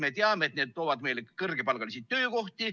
Me teame, et need toovad meile kõrgepalgalisi töökohti.